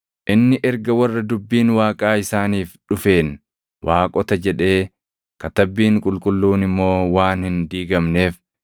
Inni erga warra dubbiin Waaqaa isaaniif dhufeen ‘waaqota’ jedhee, Katabbiin Qulqulluun immoo waan hin diigamneef,